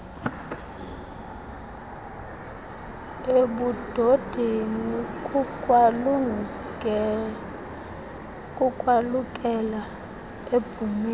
ebudodeni kukwalukela ebhumeni